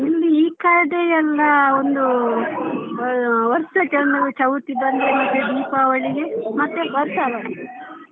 ಇಲ್ಲಿ ಈ ಕಡೆಯೆಲ್ಲ ಒಂದು ವರ್ಷಕ್ಕೆ ಒಂದು ಚೌತಿ ದೀಪಾವಳಿಗೆ ಮತ್ತೆ .